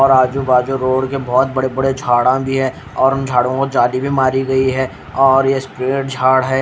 और आजु बाजु रोड के बहोत बड़े बड़े झाड़ा भी है और उन झाड़ो को जादि भी मारी गयी है और यह पेड़ झाड़ है।